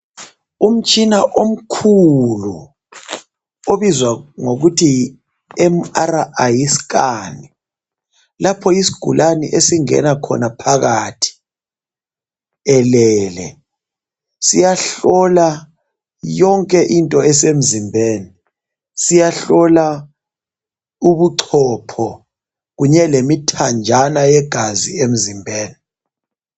Umtshina omkhulu, obizwa ngokuthi yi MRI scan, lapho isigulane esingena khona phakathi elele, siyahlola yonke into esemzimbeni, siyahlola ubuchopho kunye lemithanjana yegazi emzimbeni.